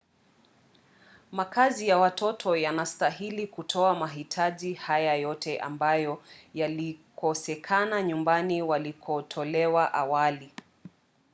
makazi ya watoto yanastahili kutoa mahitaji haya yote ambayo yalikosekana nyumbani walikotolewa awali